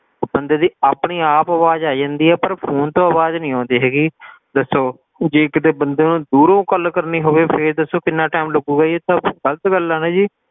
ਬੰਦੇ ਦੀ ਆਪਣੀ ਆਪ ਆਵਾਜ਼ ਆਈ ਜਾਂਦੀ ਆ ਪਰ phone ਤੋਂ ਆਵਾਜ਼ ਨੀ ਆਉਂਦੀ ਹੈਗੀ ਦੱਸੋ ਜੇ ਕਿਤੇ ਬੰਦੇ ਨੇ ਦੂਰੋਂ ਗੱਲ ਕਰਨੀ ਹੋਵੇ ਫੇਰ ਦਸੋ ਕਿੰਨਾ time ਲੱਗੂਗਾ ਇਹ ਤਾਂ ਗ਼ਲਤ ਗੱਲ ਆ ਨੀ ਜੀ,